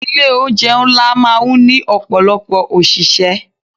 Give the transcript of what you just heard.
Ilé oúnjẹ ńlá máa ń ní ọ̀pọ̀lọpọ̀ òṣìṣẹ́.